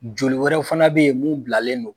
Joli wɛrɛw fana bɛ ye mun bilalen do.